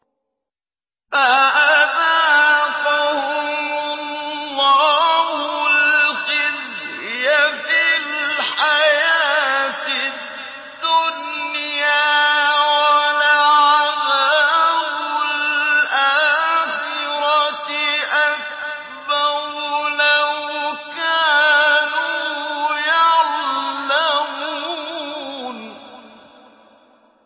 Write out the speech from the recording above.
فَأَذَاقَهُمُ اللَّهُ الْخِزْيَ فِي الْحَيَاةِ الدُّنْيَا ۖ وَلَعَذَابُ الْآخِرَةِ أَكْبَرُ ۚ لَوْ كَانُوا يَعْلَمُونَ